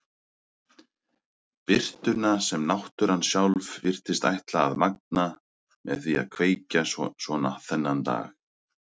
Birtuna sem náttúran sjálf virtist ætla að magna með því að kveikja svona þennan dag.